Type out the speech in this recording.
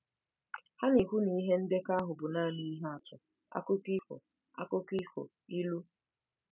Ha na-ekwu na ihe ndekọ ahụ bụ nanị ihe atụ, akụkọ ifo, akụkọ ifo, ilu.